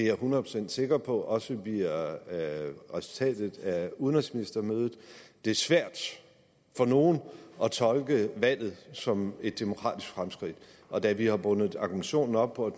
er hundrede procent sikker på at det også bliver resultatet af udenrigsministermødet det er svært for nogen at tolke valget som et demokratisk fremskridt og da vi har bundet argumentationen op på at